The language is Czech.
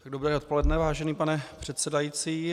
Dobré odpoledne, vážený pane předsedající.